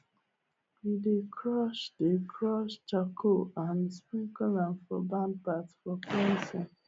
we dey crush dey crush charcoal and sprinkle am for barn path for cleansing